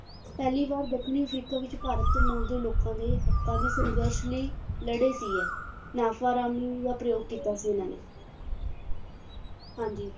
ਪਹਿਲੀ ਵਾਰ ਦੱਖਣੀ ਅਫ਼ਰੀਕਾ ਵਿੱਚ ਭਾਰਤੀ ਮੂਲ ਦੇ ਲੋਕਾਂ ਦੇ ਹੱਕਾਂ ਦੀ ਸੰਘਰਸ਼ ਲਈ ਲੜੇ ਸੀ ਇਹ ਦਾ ਪ੍ਰਯੋਗ ਕੀਤਾ ਸੀ ਇਹਨਾਂ ਨੇ ਹਾਂਜੀ